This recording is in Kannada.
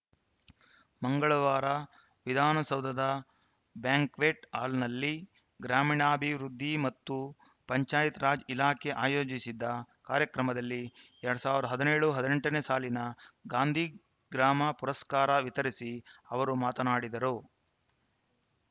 ಮಂಗಳವಾರ ವಿಧಾನಸೌಧದ ಬ್ಯಾಂಕ್ವೆಟ್‌ ಹಾಲ್‌ನಲ್ಲಿ ಗ್ರಾಮೀಣಾಭಿವೃದ್ಧಿ ಮತ್ತು ಪಂಚಾಯತ್‌ ರಾಜ್‌ ಇಲಾಖೆ ಆಯೋಜಿಸಿದ್ದ ಕಾರ್ಯಕ್ರಮದಲ್ಲಿ ಎರಡ್ ಸಾವಿರದ ಹದಿನೇಳು ಹದಿನೆಂಟು ನೇ ಸಾಲಿನ ಗಾಂಧಿ ಗ್ರಾಮ ಪುರಸ್ಕಾರ ವಿತರಿಸಿ ಅವರು ಮಾತನಾಡಿದರು